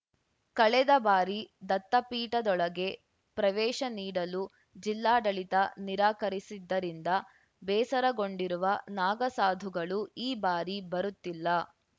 ಕಳೆದ ಬಾರಿ ದತ್ತಪೀಠದೊಳಗೆ ಪ್ರವೇಶ ನೀಡಲು ಜಿಲ್ಲಾಡಳಿತ ನಿರಾಕರಿಸಿದ್ದರಿಂದ ಬೇಸರಗೊಂಡಿರುವ ನಾಗಸಾಧುಗಳು ಈ ಬಾರಿ ಬರುತ್ತಿಲ್ಲ